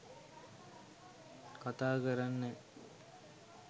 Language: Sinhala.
කතා කරන්නෑ